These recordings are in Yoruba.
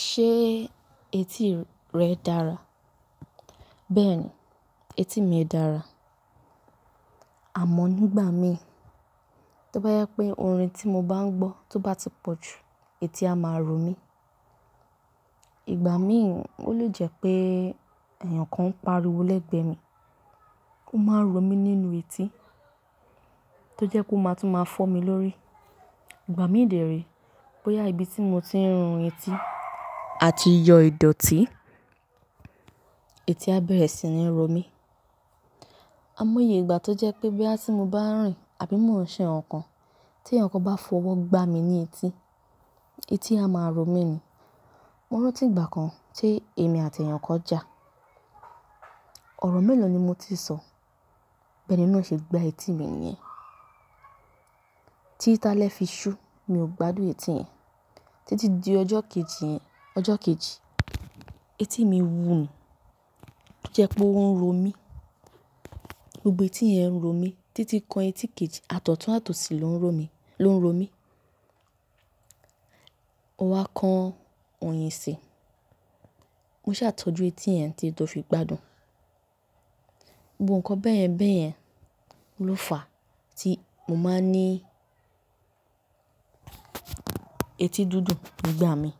Ṣé etí rẹ dára? Bẹ́ẹ̀ni, etí mi dára. Àmọ́ nígbà mìí, tó bá yẹ pé orin tí mo bá ń gbọ́ tó bá ti pọ̀ jù, etí a máa ro mí. Ìgbà mìí ó lè jẹ́ pé èèyàn kan ń pariwo lẹ́gbẹ̀ẹ́ mi, ó máa ń ro mí nínú etí, tó jẹ́ ó máa tún máa fọ́ mi lórí. Ìgbà mìí dẹ re, bóyá ibi tí mo ti ń rin etí àti yọ ìdọ̀tí, etí á bẹ̀rẹ̀ sí ní ro mí. Àìmọye ìgbà tó jẹ́ pé bóyá ti mo bá rìn àbí mò ń ṣe nǹkan, tí èèyàn kan bá fọwọ́ gbá mi ní etí, etí a máa ro mí ni. Mo rántí ìgbà kan tí èmi àti èèyàn kan jà, ọ̀rọ̀ mélòó ni mo ti sọ, bí ẹni náà ṣe gbá etí mi nìyẹn. Tí ti álẹ́ fi ṣú mi ò gbádùn etí yẹn. Tí ti di ọjọ́ kejì yẹn, ọjọ kejì etí mi wú ni tó jẹ́ pé ó ń ro mí, gbogbo etí yẹn ń ro mí títí kan etí kejì, àti ọ̀tún àti òsì ló ń ro mí. Mo wá kan òyìn sì, mo ṣa tọ́jú etí yẹn títí tò fi gbádùn. Gbogbo nǹkan bẹ́ẹ̀yẹn bẹ́ẹ̀yẹn ló fà tí mo máa ń ní etí díndùn nígbà mìí.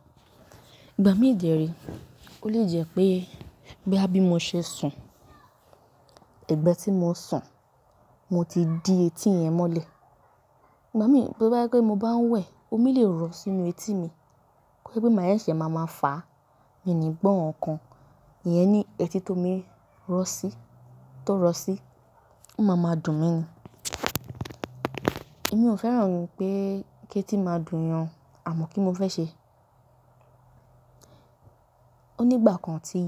Ìgbà mìí dẹ re. Ó lè jẹ́ pé bóyá bí mo ṣe sùn, ẹgbẹ́ tí mo sùn, mo ti di etí yẹn mọ́lẹ̀. Tí ti di ọjọ́ kejì yẹn, ọjọ kejì etí mi wú ní tó jẹ́ pé ó ń ro mí, gbogbo etí yẹn ń ro mí títí kan etí kejì, àti ọ̀tún àti òsì ló ń ro mí. Èmi ò fẹ́ràn pé kí etí máa dùn èèyàn o àmọ́ kí n mo fẹ́ ṣe? O nígbà kan ti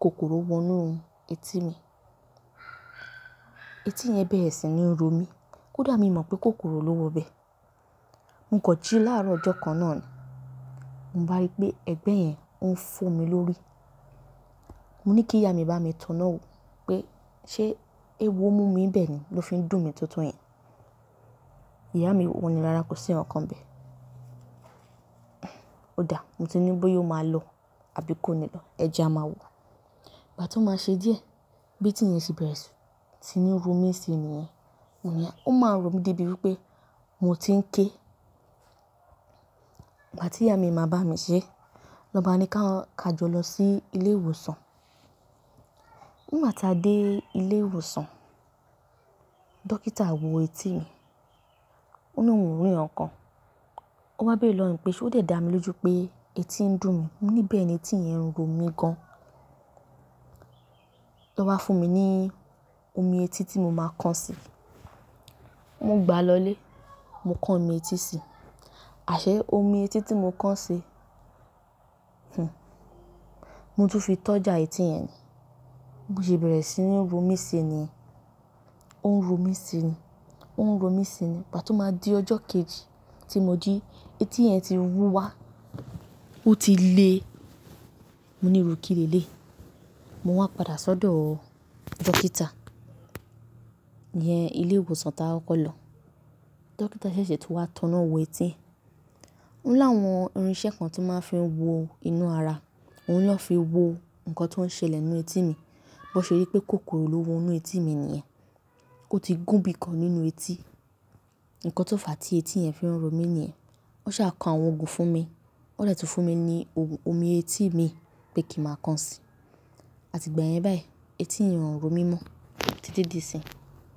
kòkòrò wọ inú etí mi, etí yẹn bẹ̀rẹ̀ sí ní ro mí, kódà mi mọ̀ pé kòkòrò ló wọ bẹ́ẹ̀. Mo kọ jí láàárọ̀ ọjọ́ kan náà ni, mo bá rí pé ẹ̀gbẹ́ yẹn ó ń fọ́ mi lórí. Mo ní kí ìyá mi bá mi tọná wo pé ṣé eéwo mú mi bẹ́ẹ̀ ni ló fi ń dùn mi tó tó yẹn. Ìyá mi wọ́n ni rára kò sí ohun kan bẹ́ẹ̀. Ó dà, mo ti ni bóyá o máa lọ àbí kó ni lọ, ẹ̀jẹ̀ a máa wọ. Mo ní kí ìyá mi bá mi tọná wo pé ṣé eéwo mú mi ń bẹ́ẹ̀ ni ló fi ń dùn mi tó tó yẹn. Ìgbà tí ìyá mi máa bá mi ṣé, lọ bá a ní ká jọ lọ sí ilé ìwòsàn. Nígbà ti a dé ilé ìwòsàn, dókítà wò etí mi, ó ni ohun ò rí ǹkankan, ó wá béèrè lọwọ mi pé ṣé ó dẹ̀ dá mi lójú pé etí ń dùn mí, mo ní bẹ́ẹ̀ni etí yẹn ń ro mí gan. Ó wá fún mi ní omi etí tí mo máa kán sí. Mo gbà á lọlé, mo kán omi etí sí. Àṣe omi etí tí mo kán sí, mo tún fi tọ́jà etí yẹn ni, bó ṣe bẹ̀rẹ̀ sí ní ro mí sí mi nìyẹn, ó ń ro mí sí ni, ó ń ro mí sí ni. Ìgbà tó máa di ọjọ́ kejì tí mo jí, etí yẹn ti wú wá, ó ti le, mo ní ìru kì leléyi. Mo wá padà sí ọdọ dókítà, iyẹn ilé ìwòsàn ti a kọkọ lọ. Dókítà ṣẹ̀ṣẹ̀ tún wá tọná wo etí. Ó ní áwọn irinṣẹ́ kan tí wọ́n máa ń fi wò inú ara, òun ni wọ́n fi wo nǹkan tí ó ń ṣẹlẹ́ nínú etí mi, bó ṣe rí pé kòkòrò ló wọ inú etí mi nìyẹn, ó ti gùn bí i kan nínú etí, nǹkan tó fà á tí etí yẹn fi ń ro mí nìyẹn. Wọn ṣa kọ àwọn ogun fún mi, wọn dẹ tún fún mi ní omi etí mi pé kín ma kán sí, àti ìgbà yẹn báyìí etí yẹn ò ro mí mọ títí di ìsinyí.